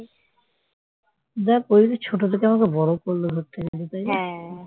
দেখ ও ছোট থেকে আমাকে বড় করলো ধরতে গেলে তাই না